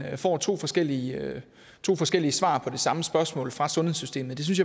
får to forskellige to forskellige svar på det samme spørgsmål fra sundhedssystemet det synes